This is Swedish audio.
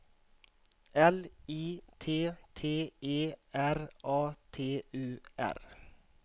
L I T T E R A T U R